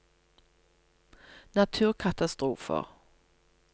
naturkatastrofer